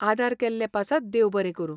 आदार केल्ले पासत देव बरें करूं.